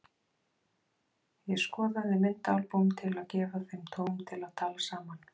Ég skoðaði myndaalbúm til að gefa þeim tóm til að tala saman.